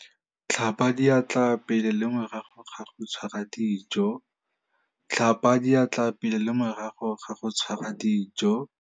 Tlhapa diatla pele le morago ga go tshwara dijo.